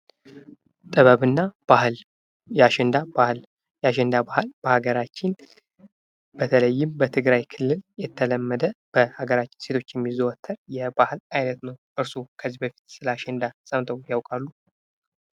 ጥበብ እና ባህል ፦ የአሸንዳ ባህል ፦ የአሸንዳ ባህል በሀገራችን በተለይም በትግራይ ክልል የተለመደ ፣ በሀገራችን ሴቶች የሚዘወትር የባህል አይነት ነው ። እርስዎ ከዚህ በፊት ስለአሸንዳ ሰምተው ያውቃሉ ?